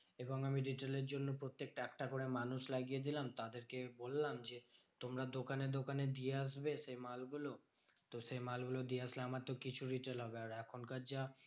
এবং আমি retail এর জন্য প্রত্যেকটা একটা করে মানুষ লাগিয়ে দিলাম। তাদেরকে বললাম যে তোমরা দোকানে দোকানে দিয়ে আসবে সেই মালগুলো। তো সেই মালগুলো দিয়ে আসলে আমার তো কিছু retail হবে। আর এখনকার যা